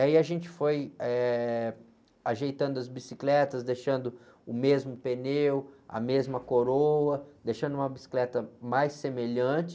Aí a gente foi, eh, ajeitando as bicicletas, deixando o mesmo pneu, a mesma coroa, deixando uma bicicleta mais semelhante.